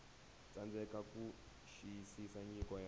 tsandzeka ku xiyisisa nyiko ya